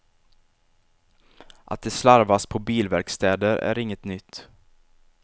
Att det slarvas på bilverkstäder är inget nytt.